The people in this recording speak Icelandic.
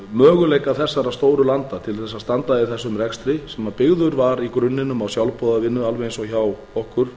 möguleika þessara stóru landa til að standa í þessum rekstri sem byggður var í grunninum á sjálfboðavinnu alveg eins og hjá okkur